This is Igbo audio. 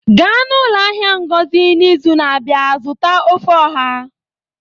gaa n'ụlọ ahịa ngozi n'izu na-abịa zụta ofe oha